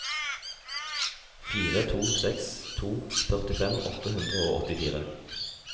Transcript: fire to seks to førtifem åtte hundre og åttifire